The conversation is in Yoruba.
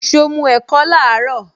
So mu ẹ̀kọ laaro?